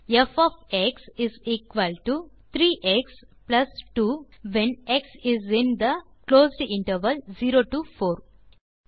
ப் of x is equal to 3எக்ஸ் plus 2 when x is in the closed interval 0 to 4